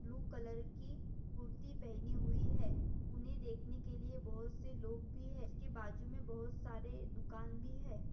Blue colour की कुर्ती पहनी हुई है उन्हे देखने के लिए बहुत से लोग भी है उसके बाजू मे बहुत सारे दुकान भी है।